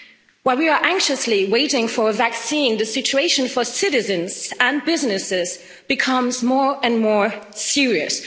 While we are anxiously waiting for a vaccine, the situation for citizens and businesses is becoming more and more serious.